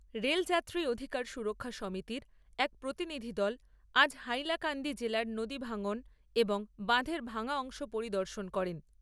Rail যাত্রী অধিকার সুরক্ষা সমিতির এক প্রতিনিধিদল আজ হাইলাকান্দি জেলার নদী ভাঙ্গন এবং বাঁধের ভাঙ্গা অংশ পরিদর্শন করেন।